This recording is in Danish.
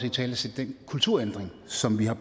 italesætte den kulturændring som vi har